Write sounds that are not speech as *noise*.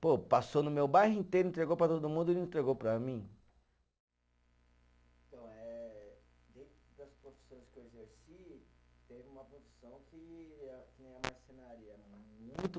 Pô, passou no meu bairro inteiro, entregou para todo mundo e não entregou para mim? *unintelligible* Eh, dentro das profissões que eu exerci, teve uma profissão que a, que nem a marcenaria, muito